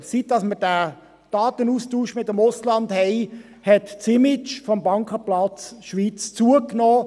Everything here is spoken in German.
Seit wir den Datenaustausch mit dem Ausland haben, hat das Image des Bankenplatzes Schweiz gewonnen.